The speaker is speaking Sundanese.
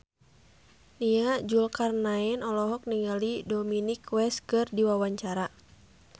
Nia Zulkarnaen olohok ningali Dominic West keur diwawancara